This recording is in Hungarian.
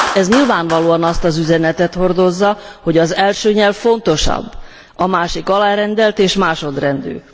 Ez nyilvánvalóan azt az üzenetet hordozza, hogy az első nyelv fontosabb, a másik alárendelt és másodrendű.